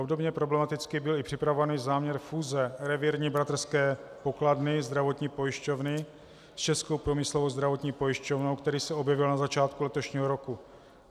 Obdobně problematický byl i připravovaný záměr fúze Revírní bratrské pokladny, zdravotní pojišťovny, s Českou průmyslovou zdravotní pojišťovnou, který se objevil na začátku letošního roku.